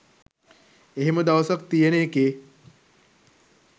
එහෙම දවසක් තියෙන එකේ